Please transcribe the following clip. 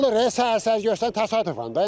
Olur e, səhər-səhər gecikən təsadüfən də.